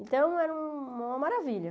Então era um uma maravilha.